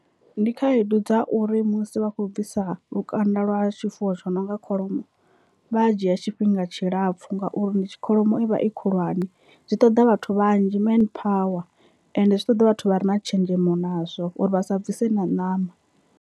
Ndi khaedu dza uri musi vha khou bvisa lukanda lwa tshifuwo tsho no nga kholomo vha dzhia tshifhinga tshilapfhu ngauri ndi tshi kholomo i vha i khulwane zwi ṱoḓa vhathu vhanzhi main power ende zwi ṱoḓa vhathu vha re na tshenzhemo nazwo uri vha sa bvise na ṋama.